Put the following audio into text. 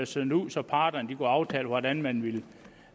sendt ud så parterne kunne aftale hvordan man ville